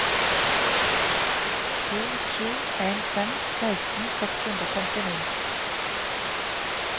to sju en fem seksten seks hundre og femtini